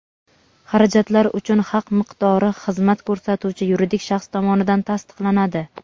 Xarajatlar uchun haq miqdori xizmat ko‘rsatuvchi yuridik shaxs tomonidan tasdiqlanadi.